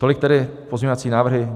Tolik tedy pozměňovací návrhy.